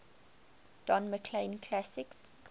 don mclean classics